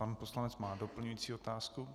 Pan poslanec má doplňující otázku.